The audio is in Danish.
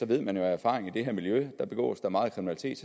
ved man jo af erfaring at i det her miljø begås der meget kriminalitet